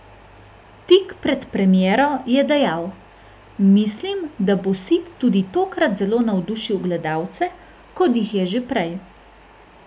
Tik pred premiero je dejal: "Mislim, da bo Sid tudi tokrat zelo navdušil gledalce, kot jih je že prej.